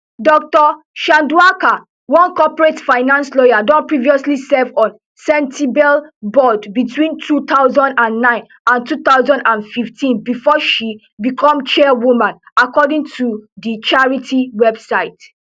dr chandauka one corporate finance lawyer don previously serve on sentebale board between two thousand and nine and two thousand and fifteen bifor she become chairwoman according to di charity website